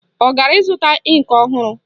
Ọ gara ịzụta ịnkị ọhụrụ?